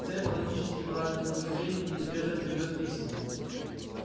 цепь логически правильных рассуждений неизбежно приведёт к истине